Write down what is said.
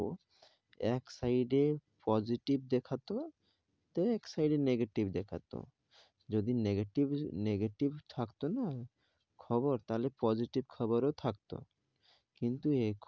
তো এক side এ positive দেখতো then এক side a negative দেখাতো যদি negative negative থাকতো না খবর, তাহলে positive খবর ও থাকতো. কিন্তু এখন.